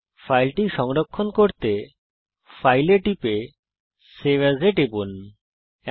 ফাইলকে সংরক্ষিত করার জন্যে ফাইল আইটেমটি নির্বাচন করুন তারপর সেভ এএস নির্বাচন করুন